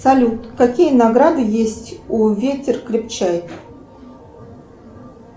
салют какие награды есть у ветер крепчает